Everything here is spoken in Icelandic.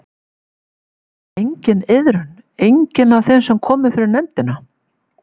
Sýnir enginn iðrun, enginn af þeim sem komu fyrir nefndina?